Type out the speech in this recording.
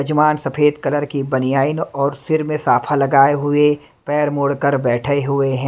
बजमान सफेद कलर की बनियाइन और सिर में साफा लगाए हुए पैर मोड़कर बैठे हुए है।